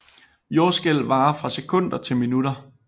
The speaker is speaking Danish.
Jordskælv varer fra sekunder til minutter